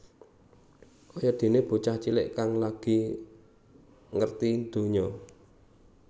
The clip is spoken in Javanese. Kaya déné bocah cilik kang lagi ngerti ndonya